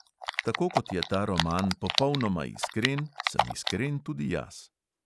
Tako kot je ta roman popolnoma iskren, sem iskren tudi jaz.